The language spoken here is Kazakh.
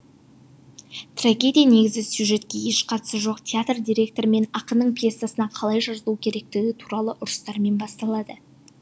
трагедия негізгі сюжетке еш қатысы жоқ театр директоры мен ақынның пьесасына қалай жазылу керектігі туралы ұрыстармен басталады